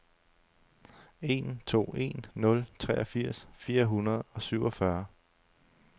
en to en nul treogfirs fire hundrede og syvogfyrre